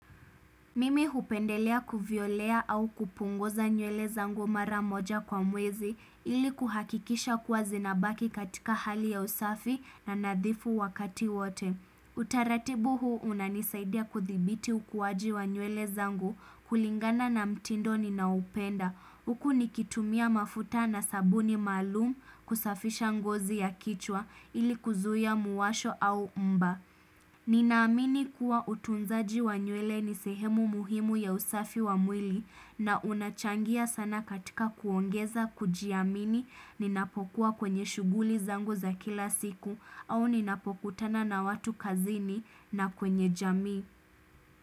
Mimi hupendelea kuvyolea au kupunguza nywele zangu mara moja kwa mwezi ili kuhakikisha kuwa zinabaki katika hali ya usafi na nadhifu wakati wote. Utaratibu huu unanisaidia kuthibiti ukuwaji wa nywele zangu kulingana na mtindo ninaoupenda. Huku nikitumia mafuta na sabuni maalumu kusafisha ngozi ya kichwa ili kuzuia muwasho au mba. Ninaamini kuwa utunzaji wa nywele ni sehemu muhimu ya usafi wa mwili na unachangia sana katika kuongeza kujiamini ninapokuwa kwenye shughuli zangu za kila siku au ninapokutana na watu kazini na kwenye jamii.